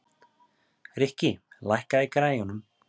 Rikki, lækkaðu í græjunum.